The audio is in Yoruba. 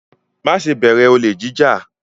Má ṣe bẹ̀rẹ̀ olè jí jà!